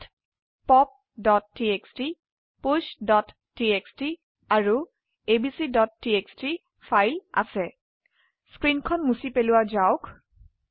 ইয়াতpoptxt pushটিএক্সটি আৰু abcটিএক্সটি ফাইল আছে স্ক্ৰীনখন মুছি পেলোৱাযাওক